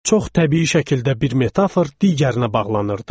Çox təbii şəkildə bir metafor digərinə bağlanırdı.